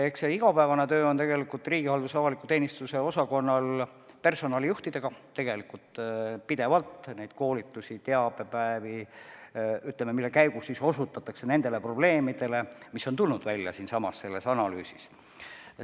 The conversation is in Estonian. Eks riigihalduse ja avaliku teenistuse osakonna igapäevane töö käib tegelikult personalijuhtidega, kellele tehakse pidevalt koolitusi ja teabepäevi, mille käigus osutatakse ka nendele probleemidele, mis on selles analüüsis välja tulnud.